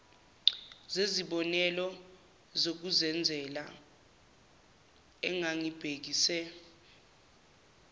zezibonelo zokuzenzela engangibhekise